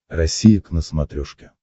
россия к на смотрешке